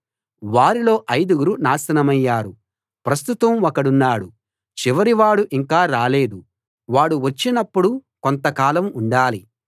వారిలో ఐదుగురు నాశనమయ్యారు ప్రస్తుతం ఒకడున్నాడు చివరి వాడు ఇంకా రాలేదు వాడు వచ్చినప్పుడు కొంత కాలం ఉండాలి